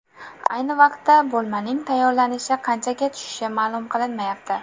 Ayni vaqtda, bo‘lmaning tayyorlanishi qanchaga tushishi ma’lum qilinmayapti.